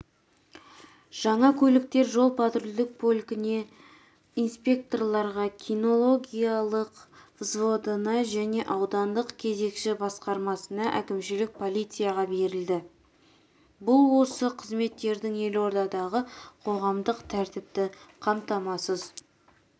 жаңа көліктер жол-патрульдік полкіне инспекторларға кинологиялық взводына және аудандық кезекші басқармасына әкімшілік полицияға берілді бұл осы қызметтердің елордадағы қоғамдық тәртіпті қамтамасыз